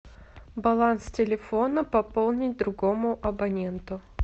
баланс телефона пополнить другому абоненту